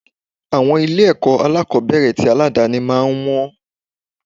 Àwọn ilé ẹ̀kọ́ alákòbẹ̀rẹ̀ tì aládàni máa ń wọn.